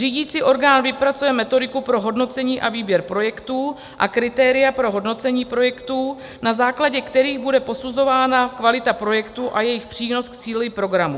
Řídicí orgán vypracuje metodiku pro hodnocení a výběr projektů a kritéria pro hodnocení projektů, na základě kterých bude posuzována kvalita projektů a jejich přínos k cíli programu.